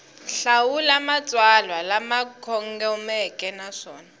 hlawula matsalwa lama kongomeke naswona